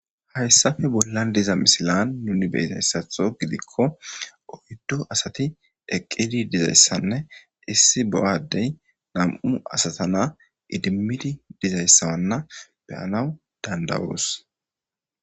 Hayssafe bollan diza misilan nuni be izayssatho gidikko oyddo asati eqqidi dizayssanne issi bo'a addey nam7u asatana idimmidi dizayssa wanna beyanaw dandawoos.